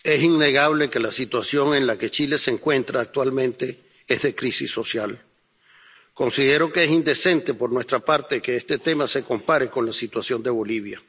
Señora presidenta, es innegable que la situación en la que Chile se encuentra actualmente es de crisis social. Considero que es indecente por nuestra parte que este tema se compare con la situación de Bolivia.